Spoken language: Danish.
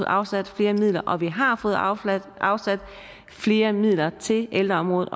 afsat flere midler og vi har fået afsat afsat flere midler til ældreområdet